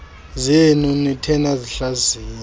zenu nithe nasihlaziya